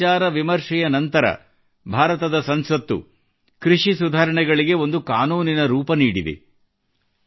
ತುಂಬಾ ವಿಚಾರವಿಮರ್ಶೆಯ ನಂತರ ಭಾರತದ ಸಂಸತ್ತು ಕೃಷಿ ಸುಧಾರಣೆಗಳಿಗೆ ಒಂದು ಕಾನೂನಿನ ರೂಪ ನೀಡಿದೆ